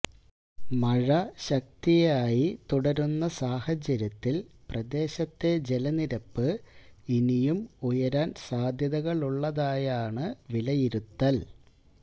മഴ ശക്തിയായി തുടരുന്ന സാഹചര്യത്തിൽ പ്രദേശത്തെ ജലനിരപ്പ് ഇനിയും ഉയരാൻ സാധ്യതകളുള്ളതായാണ് വിലയിരുത്തൽ